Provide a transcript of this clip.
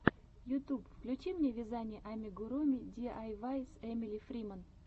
ютьюб включи мне вязание амигуруми диайвай с эмили фриман